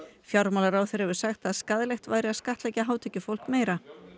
fjármálaráðherra hefur sagt að skaðlegt væri að skattleggja hátekjufólk meira